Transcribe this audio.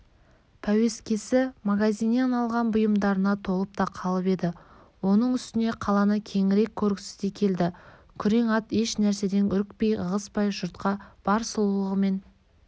пәуескесі магазиннен алған бұйымдарына толып та қалып еді оның үстіне қаланы кеңірек көргісі де келді күрең ат еш нәрседен үрікпей-ығыспай жұртқа бар сұлулығымен